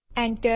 Enter